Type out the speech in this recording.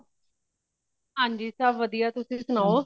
ਹਾਂਜੀ ਸੱਬ ਵਦੀਆ ਤੁਸੀ ਸੁਣਾਓ